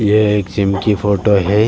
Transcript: ये एक जिम की फोटो हैं।